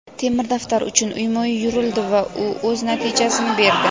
"Temir daftar" uchun uyma-uy yurildi va u o‘z natijasini berdi.